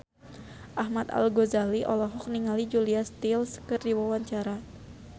Ahmad Al-Ghazali olohok ningali Julia Stiles keur diwawancara